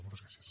moltes gràcies